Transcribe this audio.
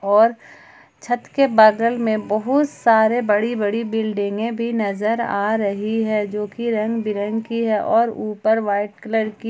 और छत के बगल में बहुत सारे बड़ी बड़ी बिल्डिंगें भी नजर आ रही हैं जो की रंग बिरंगी हैं और ऊपर व्हाइट कलर की--